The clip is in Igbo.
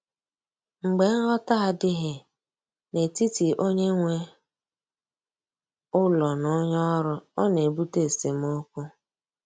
Mgbe nghọta adịghị n’etiti onye nwe ụlọ na onye ọrụ, ọ na-ebute esemokwu.